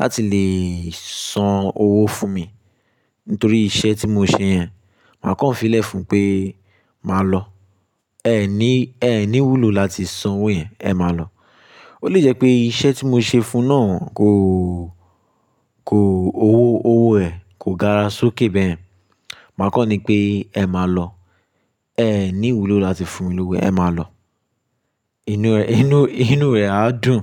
láti lè san owó fún mi nítorí iṣẹ́ tí mo ṣe yẹn. Màá kọ̀ ọ́n fílẹ̀ fún un pé, "Màá lọ. Ẹ̀ ní, ẹ̀ ní wùlo láti san owó yẹn. Ẹ má lọ." Ó lè jẹ́ pé iṣẹ́ tí mo ṣe fun náà kò, kò, owó, owó ẹ̀ kò gara sọ ké bẹyẹn. Màá kọ́ni pé, Ẹ máa lọ. Ẹ̀ ní wùlo láti fun mi lówó, ẹ̀ máa lọ." Inú rẹ̀, inú, inú rẹ̀ á dùn,